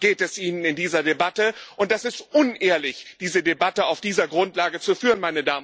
Darum geht es Ihnen in dieser Debatte, und es ist unehrlich, diese Debatte auf dieser Grundlage zu führen.